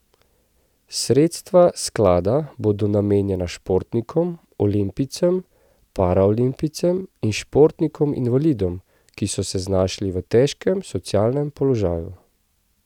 Sredstva sklada bodo namenjena športnikom, olimpijcem, paraolimpijcem in športnikom invalidom, ki so se znašli v težkem socialnem položaju.